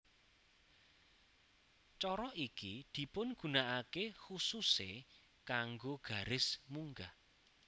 Cara iki dipigunakaké khususé kanggo garis munggah